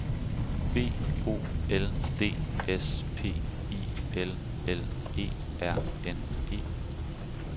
B O L D S P I L L E R N E